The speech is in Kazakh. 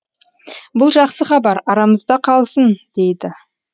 бұл жақсы хабар арамызда қалсын дейді